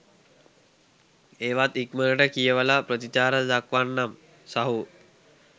ඒවත් ඉක්මනට කියවල ප්‍රතිචාර දක්වන්නම් සහෝ.